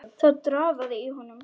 Það drafaði í honum.